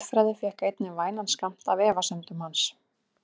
Guðfræði fékk einnig vænan skammt af efasemdum hans.